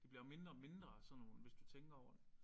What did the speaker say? Det bliver jo mindre og mindre af sådan nogle hvis du tænker over det